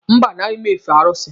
Mba, anaghị m efe arụsị.